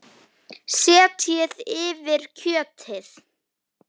Setjið yfir kjötið.